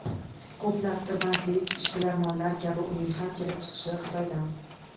Ko‘plab tailandlik ishbilarmonlar kabi uning ham kelib chiqishi Xitoydan.